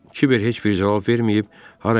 Kiber heç bir cavab verməyib harasa getdi.